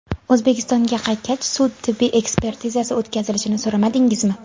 O‘zbekistonga qaytgach, sud-tibbiy ekspertizasi o‘tkazilishini so‘ramadingizmi?